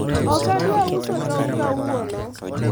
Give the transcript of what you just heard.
okadwa uso tong' kawuono